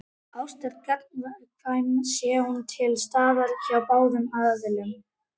Ást er gagnkvæm sé hún til staðar hjá báðum aðilum.